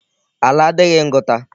Ala adịghị ngụta.